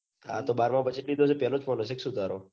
આતો બારામાં પછી કીધો પેલો phone હશે. કે સુ તારો